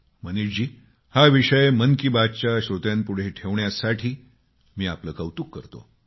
मनीषजी हा विषय मन की बात च्या श्रोत्यापुढे ठेवण्यासाठी मी आपले कौतुक करतो